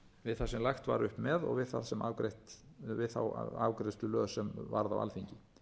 við það sem lagt var upp með og við þá afgreiðslu lög sem varð á alþingi